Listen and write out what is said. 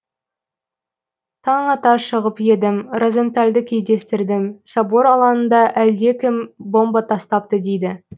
таң ата шығып едім розентальды кездестірдім собор алаңында әлдекім бомба тастапты дейді